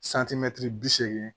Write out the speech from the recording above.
bi seegin